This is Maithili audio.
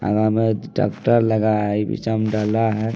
अगा मे ट्रैक्टर लगा है पीछा में डाला है।